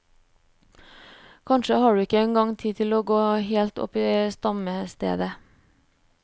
Kanskje har du ikke engang tid til å gå helt opp til stamstedet.